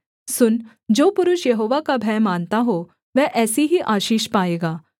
सुन जो पुरुष यहोवा का भय मानता हो वह ऐसी ही आशीष पाएगा